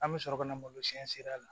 An bɛ sɔrɔ ka na malosiyɛn senna a la